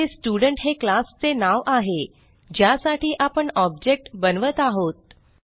येथे स्टुडेंट हे क्लास चे नाव आहे ज्यासाठी आपण ऑब्जेक्ट बनवत आहोत